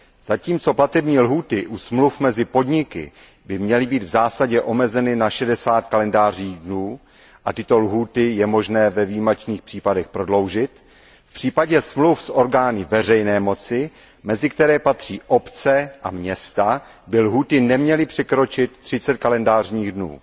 Zatímco platební lhůty u smluv mezi podniky by měly být v zásadě omezeny na 60 kalendářních dnů, a tyto lhůty je možné ve výjimečných případech prodloužit, v případě smluv s orgány veřejné moci, mezi které patří obce a města, by lhůty neměly překročit 30 kalendářních dnů.